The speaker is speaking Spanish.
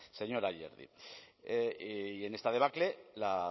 señor ayerdi y en esta debacle la